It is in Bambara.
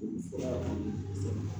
Olu fɔ